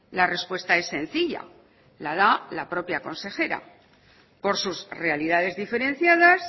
la respuesta es sencilla la da la propia consejera por sus realidades diferenciadas